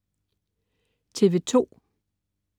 TV2: